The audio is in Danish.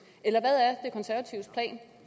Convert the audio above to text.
eller